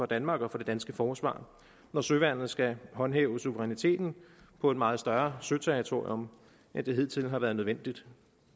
danmark og for det danske forsvar når søværnet skal håndhæve suveræniteten på et meget større søterritorium end det hidtil har været nødvendigt